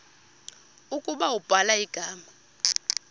ukuba ubhala igama